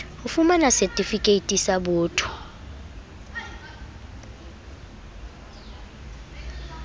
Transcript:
ho fumana setifikeiti sa botho